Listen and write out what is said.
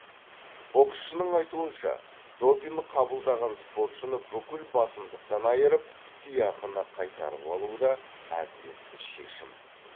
боксшының айтуынша допинг қабылдаған спортшыны бүкіл басымдықтан айырып сыйақыны қайтарып алу да әділетті шешім